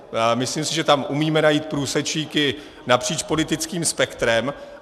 Myslím si, že tam umíme najít průsečíky napříč politickým spektrem.